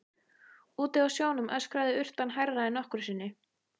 Úti á sjónum öskraði urtan hærra en nokkru sinni.